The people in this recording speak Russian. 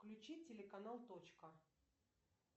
включи телеканал точка